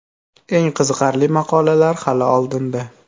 Eng qiziqarli maqolalar hali oldinda.